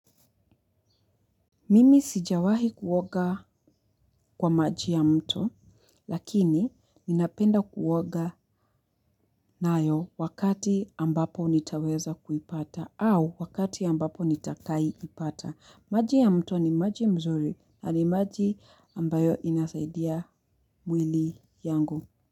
Mimi sijawahi kuoga kwa maji ya mto lakini ninapenda kuoga nayo wakati ambapo nitaweza kuipata au wakati ambapo nitakai ipata. Maji ya mto ni maji mzuri na ni maji ambayo inasaidia mwili yangu.